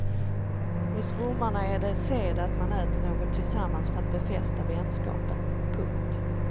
Hos romarna är det sed att man äter något tillsammans för att befästa vänskapen. punkt